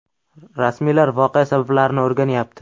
Rasmiylar voqea sabablarini o‘rganyapti.